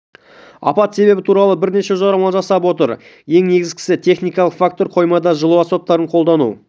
апат себебі туралы бірнеше жорамал жасап отыр ең негізгісі техникалық фактор қоймада жылу аспаптарын қолдану